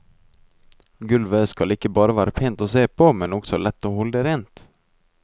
Gulvet skal ikke bare være pent å se på, men også lett å holde rent.